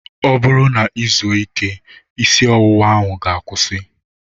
Ọ bụrụ na I zuo ike, isi ọwụwa ahụ ga-akwusi